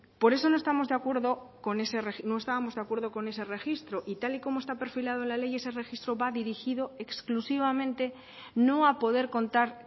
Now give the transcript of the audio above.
por eso no estábamos de acuerdo con ese registro y tal y como está perfilado en la ley ese registro va dirigido exclusivamente no a poder contar